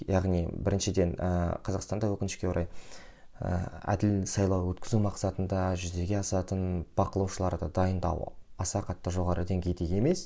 яғни біріншіден ііі қазақстанда өкінішке орай ыыы әділ сайлау өткізу мақсатында жүзеге асатын бақылаушыларды дайындау аса қатты жоғары деңгейде емес